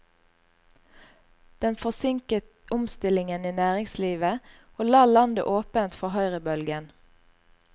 Den forsinket omstillingen i næringslivet, og la landet åpent for høyrebølgen.